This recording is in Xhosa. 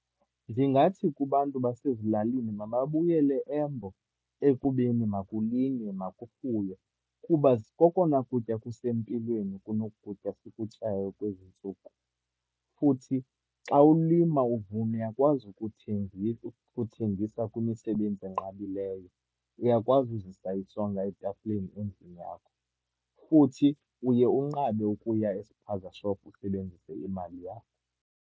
Ndingathi kubantu basezilalini mababuyele embo, ekubeni makulinywe, makufuywe. Kuba kokona kutya kusempilweni kunokutya sikutyayo kwezi ntsuku. Futhi xa ulima, uvuna uyakwazi ukuthengisa ukuthengisa kwimisebenzi enqabileyo. Uyakwazi uzisa isonka etafileni endlini yakho. Futhi uye unqabe ukuya e-spaza shop usebenzise imali yakho.